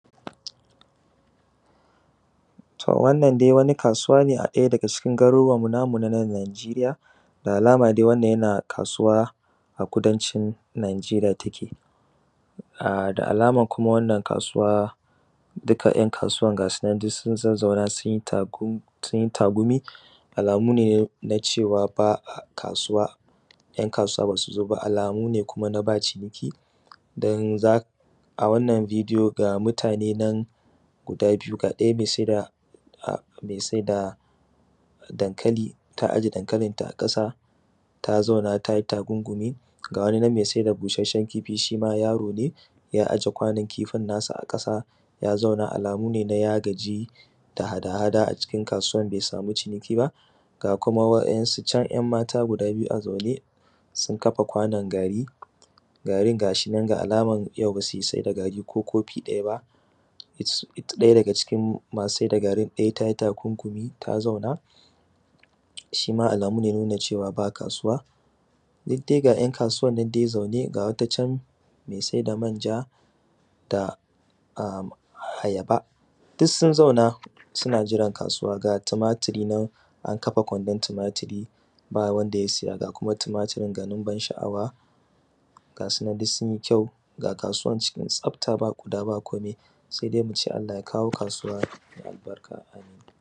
to wannan dai wani kasuwa ne a ɗaya daga cikin garuruwanmu namu na nan nigeria da alama dai wannan yana kasuwa a kudancin nigeria take da alama: kuma wannan kasuwa duka ‘yan kasuwan ga su nan duk sun zazzauna sun yi tagumi alamu ne na cewa ba a kasuwa ‘yan kasuwa ba su zo ba alamu ne kuma na ba ciniki don za a wannan video ga mutane nan guda biyu ga ɗaya mai sai da mai sai da dankali ta aje dankalinta a ƙasa ta zauna ta yi tagungumi ga wani nan mai sai da busasshen kifi shi ma yaro ne: ya aje kwanon kifin nasa a ƙasa ya zauna alamu ne na ya gaji da hada hada a cikin kasuwan bai samu ciniki ba ga kuma wa’yansu can ‘yanmata guda biyu a zaune sun kafa kwanon gari garin ga shi nan da alaman yau ba su sai da gari ko kofi ɗaya ba ɗaya daga cikin masu sai da garin ɗaya ta yi tagungumi ta zauna shi ma alamu ne na nuna cewa ba kasuwa duk dai ga ‘yan kasuwan nan dai zaune ga wata can mai sai da manja da ayaba duk sun zauna suna jiran kasuwa ga tumaturi nan an kafa kwandon tumaturi ba wanda ya siya ga kuma tumaturin gwanin ban sha’awa ga su nan duk sun yi kyau ga kasuwan cikin ga kasuwan cikin tsafta ba ƙuda ba komi sai dai mu ce allah ya kawo kasuwa mai albarka